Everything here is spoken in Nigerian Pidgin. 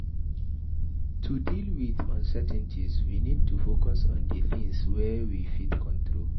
To deal with uncertainties we need to focus in di things wey we fit control